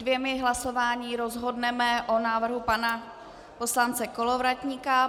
Dvěma hlasováními rozhodneme o návrhu pana poslance Kolovratníka.